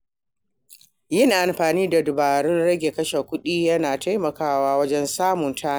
Yin amfani da dabarun rage kashe kuɗi yana taimakawa wajen samun tanadi.